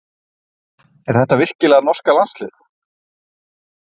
Er þetta virkilega norska landsliðið?